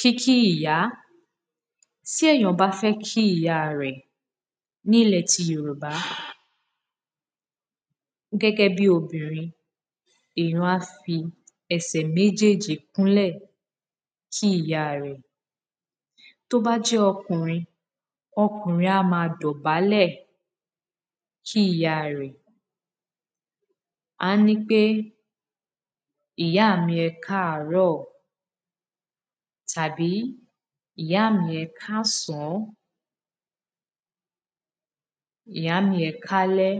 kíkí ìyá tí èyàn bá fẹ́ kí ìyá rẹ̀ ní ilẹ̀ ti yorùbá pause gẹ́gẹ́ bí obìrin èyàn á fi ẹsẹ̀ méjèèjì kúnlẹ̀ kí ìyá rẹ̀ tí ó bá jẹ́ okùrin okùrin á máa dọ̀bálẹ̀ kí ìyá rẹ̀ á ní pé ìyá mi ẹkáàrọ̀ tàbí ìyá mi ẹkáàsán pause ìyá mi ẹkáalẹ́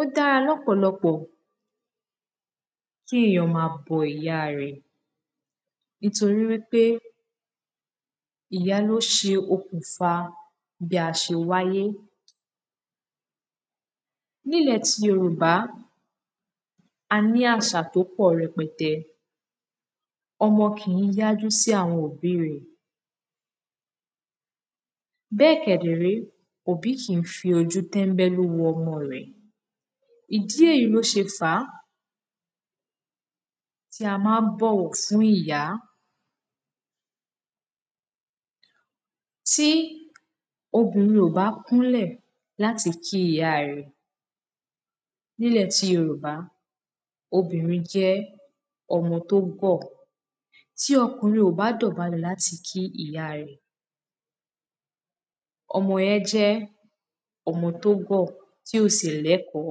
ó dára lọ́kpọ̀lokpọ̀ kí èyàn máa bọ ìyá rẹ̀ nítorí pé ìyá ló ṣe okùnfà bí a ṣe wáyé ní ilẹ̀ ti yorùbá a ní àṣà tí ó pọ̀ rẹpẹtẹ, ọmọ kìí yájú sí àwon òbí rẹ̀ bẹ́ẹ̀ kẹ̀dẹ̀ ré, òbí kìí fi ojú tẹ́nbẹ́lú ọmọ rẹ ìdí èyí ni ó ṣe fàá tí a máa ń bọwọ fún ìyá, tí obìrin ò bá kúnlẹ̀ láti kí ìyá rẹ̀ ní ilẹ̀ ti yorùbá obìrin jẹ́ ọmọ tó gọ̀ tí okùnrin ò bá dọ̀bálẹ̀ láti kí ìya rẹ̀ ọmọ yẹn jẹ́ ọmọ tó gọ̀ tí ò sì lẹ́ẹ̀kọ́